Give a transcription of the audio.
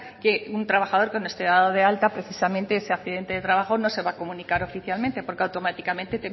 que un trabajador que no esté dado alta precisamente ese accidente de trabajo no se va a comunicar oficialmente porque automáticamente